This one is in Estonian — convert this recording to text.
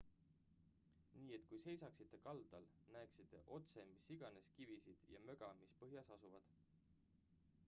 nii et kui seisaksite kaldal näeksite otse mis iganes kivisid ja möga mis põhjas asuvad